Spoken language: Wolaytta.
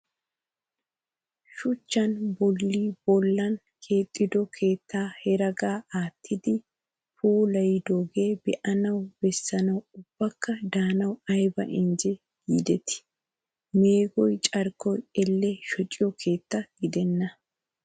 Shuchcha bolli bllan keexxido keettaa heregaa aattidi puulayidooge be'anawu bessanawu ubbakka daanawu aybba injje giideeti. Meegoyi carkkoykka elle shociyo keetta gidenna.